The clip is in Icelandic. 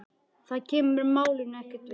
Það kemur málinu ekkert við.